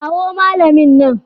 Kawo malamin nan.